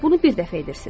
Bunu bir dəfə edirsiz.